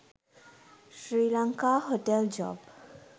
srilanka hotel job